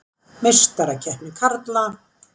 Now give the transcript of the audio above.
Meistarakeppni karla: